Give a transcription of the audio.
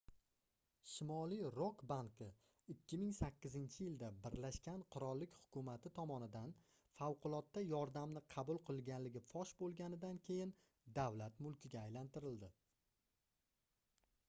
shimoliy rok banki 2008-yilda birlashgan qirollik hukumati tomonidan favqulodda yordamni qabul qilganligi fosh boʻlganidan keyin davlat mulkiga aylantirildi